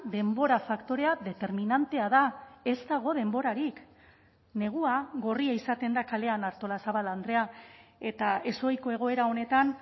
denbora faktorea determinantea da ez dago denborarik negua gorria izaten da kalean artolazabal andrea eta ezohiko egoera honetan